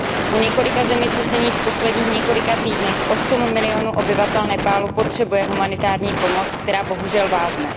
Po několika zemětřeseních v posledních několika týdnech 8 milionů obyvatel Nepálu potřebuje humanitární pomoc, která bohužel vázne.